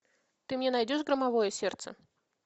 ты мне найдешь громовое сердце